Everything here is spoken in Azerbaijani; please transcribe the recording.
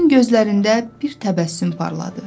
Onun gözlərində bir təbəssüm parladı.